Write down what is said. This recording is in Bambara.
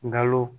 Nkalon